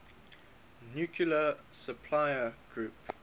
nuclear suppliers group